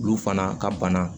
Olu fana ka bana